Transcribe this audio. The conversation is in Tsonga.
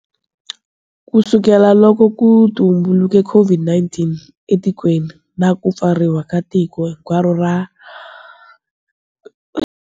Kusukela loko ku tumbuluke COVID-19 etikweni, na ku pfariwa ka tiko hinkwaro ra.